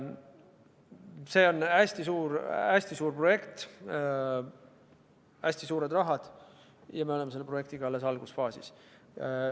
See on hästi suur projekt, siin on hästi suured rahad ja me oleme selle projektiga alles algusfaasis.